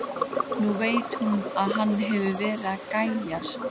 Nú veit hún að hann hefur verið að gægjast.